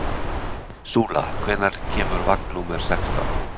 Súla, hvenær kemur vagn númer sextán?